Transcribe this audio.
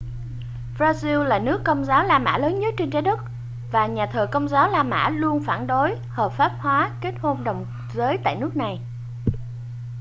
brazil là nước công giáo la mã lớn nhất trên trái đất và nhà thờ công giáo la mã luôn phản đối hợp pháp hóa kết hôn đồng giới tại nước này